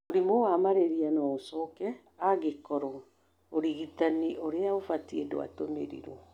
Mũrimũ wa malaria no ũcoke angĩkorwo ũrigitani ũrĩa ũbatie ndwatũmĩrirwo.